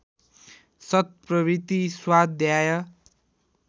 सत्प्रवृत्ति स्वाध्याय